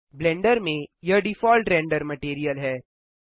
blender में यह default render material है